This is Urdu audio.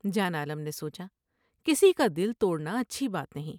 جان عالم نے سوچا کسی کا دل توڑنا اچھی بات نہیں ۔